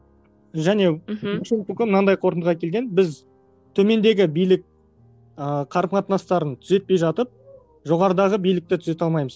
және мхм фуко мынандай қортындыға келген біз төмендегі билік ыыы қарым қатыстарын түзетпей жатып жоғарыдағы билікті түзете алмаймыз